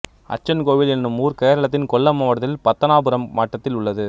அச்சன்கோவில் என்னும் ஊர் கேரளத்தின் கொல்லம் மாவட்டத்தில் பத்தனாபுரம் வட்டத்தில் உள்ளது